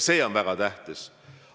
See on väga tähtis.